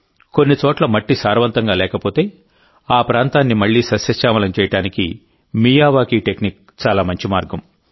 కొన్ని చోట్ల మట్టి సారవంతంగా లేకపోతే ఆ ప్రాంతాన్నిమళ్ళీ సస్యశ్యామలం చేయడానికి మియావాకీ టెక్నిక్ చాలా మంచి మార్గం